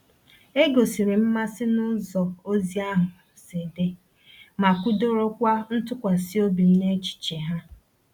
E gosiri m mmasị n’ụzọ ozi ahụ si dị, ma kwudorokwa ntụkwasị obi m n’echiche ha.